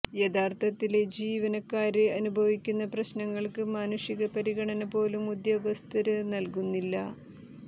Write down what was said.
യഥാര്ത്ഥത്തില് ജീവനക്കാര് അനുഭവിക്കുന്ന പ്രശ്നങ്ങള്ക്ക് മാനുഷിക പരിഗണന പോലും ഉദ്യോഗസ്ഥര് നല്കുന്നില്ല